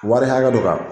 Wari hakɛ dɔ kan